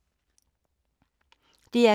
DR K